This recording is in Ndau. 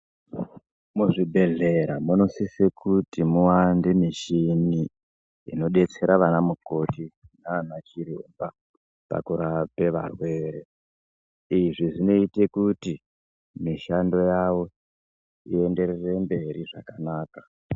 Muzvibhedhlera munosise kuti muwande muchini inobetsera vana mukoti nana chiremba pakurape varwere. Izvi zvinote kuti mishando yavo ienderere mberi zvakanaka.